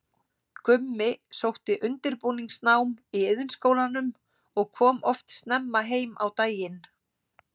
Gummi sótti undirbúningsnám í Iðnskólanum og kom oft snemma heim á daginn.